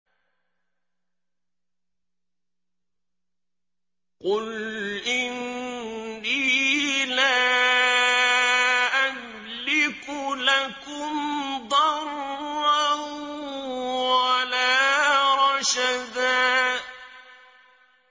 قُلْ إِنِّي لَا أَمْلِكُ لَكُمْ ضَرًّا وَلَا رَشَدًا